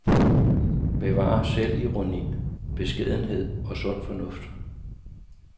Bevar selvironi, beskedenhed og sund fornuft.